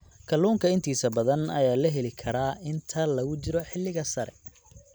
Kalluunka intiisa badan ayaa la heli karaa inta lagu jiro xilliga sare.